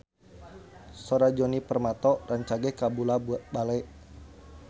Sora Djoni Permato rancage kabula-bale